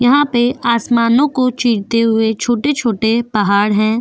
यहा पे आसमानो को चीरते हुए छोटे छोटे पहाड़ है।